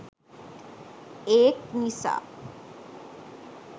ඒක් නිසා